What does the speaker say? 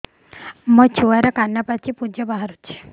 ମୋ ଛୁଆର କାନ ପାଚି ପୁଜ ବାହାରୁଛି